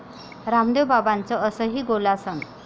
रामदेव बाबांचं असंही 'गोलासन'!